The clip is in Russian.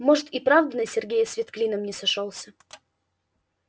может и правда на сергее свет клином не сошёлся